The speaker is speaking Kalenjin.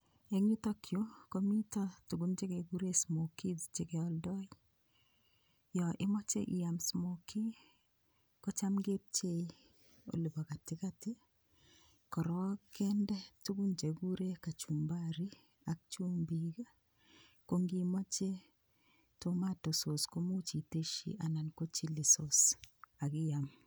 Eng' yutokyu komito tukun chekekure smokies chekeoldoi yo imoche iial smokie ko cham kepchei olibo katikati korok kende tukun chekikure kachumbari ak chumbik kongimoche [tomato sauce komuuch iteshi anan ko [chilli sauce akiam